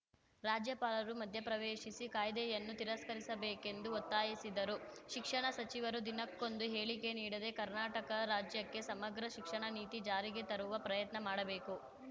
ರಾಜ್ಯಪಾಲರು ಮಧ್ಯಪ್ರವೇಶಿಸಿ ಕಾಯ್ದೆಯನ್ನು ತಿರಸ್ಕರಿಸಬೇಕೆಂದು ಒತ್ತಾಯಿಸಿದರು ಶಿಕ್ಷಣ ಸಚಿವರು ದಿನಕ್ಕೊಂದು ಹೇಳಿಕೆ ನೀಡದೆ ಕರ್ನಾಟಕ ರಾಜ್ಯಕ್ಕೆ ಸಮಗ್ರ ಶಿಕ್ಷಣ ನೀತಿ ಜಾರಿಗೆ ತರುವ ಪ್ರಯತ್ನ ಮಾಡಬೇಕು